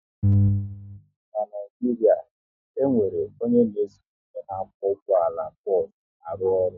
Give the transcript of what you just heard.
N'Naijiria, e nwere onye n'eso onye na-akwọ ụgbọala bos arụ ọrụ